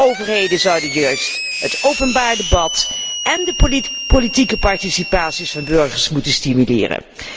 Overheden zouden juist het openbaar debat en de politieke participatie van burgers moeten stimuleren.